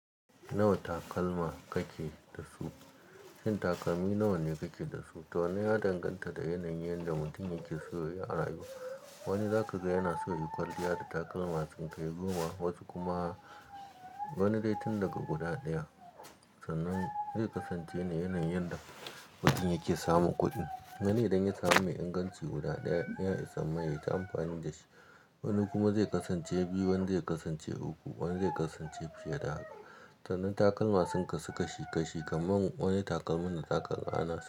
Nawa takalma kake da su? Shin takalmi nawa ne kake da su? To wannan ya danganta da yanayin yadda mutum yake so ya rayu. Wani zaka ga yana so ya yi kwalliya da takalma sun kai goma, wasu kuma wani dai tun daga guda ɗaya. Sannan zai kasance ne yanayin yanda mutum yake samun kuɗin. Wani idan ya samu mai inganci guda ɗaya ya isa mai yayi ta amfani da shi. Wani kuma zai kasance biyu, wani zai kasance uku, wani zai kasance fiye da haka. Sannan takalma sun kasu kashi kashi kamar wane takalmin da zaka gane.